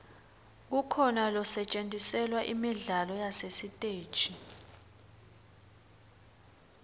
kukhona losetjentiselwa imidlalo yasesiteji